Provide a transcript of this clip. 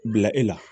Bila e la